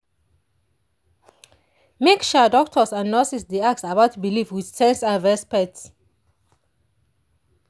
make um doctors and nurses dey ask about belief with sense and respect.